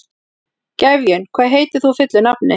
Gefjun, hvað heitir þú fullu nafni?